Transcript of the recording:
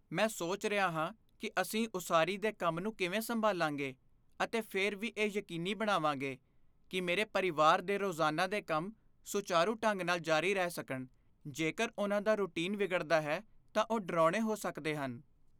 ਮੈਂ ਸੋਚ ਰਿਹਾ ਹਾਂ ਕਿ ਅਸੀਂ ਉਸਾਰੀ ਦੇ ਕੰਮ ਨੂੰ ਕਿਵੇਂ ਸੰਭਾਲਾਂਗੇ ਅਤੇ ਫਿਰ ਵੀ ਇਹ ਯਕੀਨੀ ਬਣਾਵਾਂਗੇ ਕਿ ਮੇਰੇ ਪਰਿਵਾਰ ਦੇ ਰੋਜ਼ਾਨਾ ਦੇ ਕੰਮ ਸੁਚਾਰੂ ਢੰਗ ਨਾਲ ਜਾਰੀ ਰਹਿ ਸਕਣ। ਜੇਕਰ ਉਨ੍ਹਾਂ ਦਾ ਰੁਟੀਨ ਵਿਗੜਦਾ ਹੈ ਤਾਂ ਉਹ ਡਰਾਉਣੇ ਹੋ ਸਕਦੇ ਹਨ।